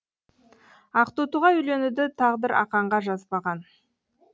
ақтотыға үйленуді тағдыр ақанға жазбаған